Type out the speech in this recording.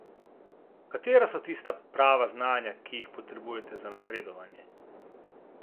Katera so tista prava znanja, ki jih potrebujete za napredovanje?